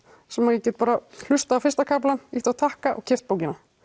sem ég get bara hlustað á fyrsta kaflann ýtt á takka og keypt bókina